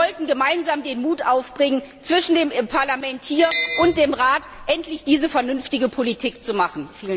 Wir sollten gemeinsam den Mut aufbringen, zwischen dem Parlament hier und dem Rat endlich diese vernünftige Politik zu machen!